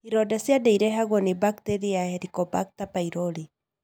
ironda cia nda irehagwo nĩ bakiteria ya Helicobacter pylori.